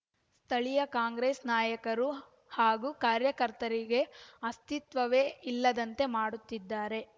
ಸ್ಥಳೀಯ ಕಾಂಗ್ರೆಸ್‌ ನಾಯಕರು ಹಾಗೂ ಕಾರ್ಯಕರ್ತರಿಗೆ ಅಸ್ತಿತ್ವವೇ ಇಲ್ಲದಂತೆ ಮಾಡುತ್ತಿದ್ದಾರೆ